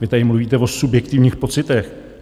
Vy tady mluvíte o subjektivních pocitech.